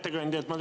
Hea ettekandja!